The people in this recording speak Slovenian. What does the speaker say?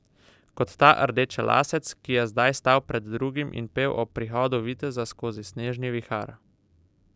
Kot ta rdečelasec, ki je zdaj stal pred drugimi in pel o prihodu viteza skozi snežni vihar.